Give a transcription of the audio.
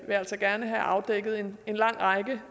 vi altså gerne have afdækket en lang række